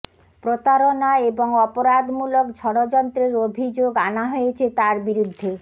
প্রতারণা এবং অপরাধমূলক ষড়যন্ত্রের অভিযোগ আনা হয়েছে তাঁর বিরুদ্ধে